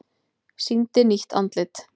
Sýndi nýtt andlit